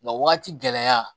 Nka wagati gɛlɛya